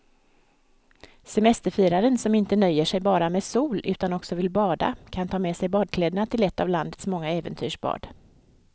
Semesterfiraren som inte nöjer sig med bara sol utan också vill bada kan ta med sig badkläderna till ett av landets många äventyrsbad.